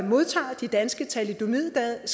modtager de danske thalidomidskadede